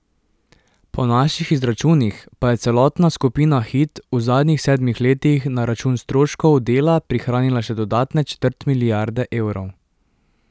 Po naših izračunih pa je celotna skupina Hit v zadnjih sedmih letih na račun stroškov dela prihranila še dodatne četrt milijarde evrov.